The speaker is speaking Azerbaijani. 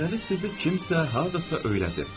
Deməli sizi kimsə hardasa öyrədib.